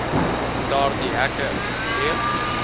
daardie hekke gebreek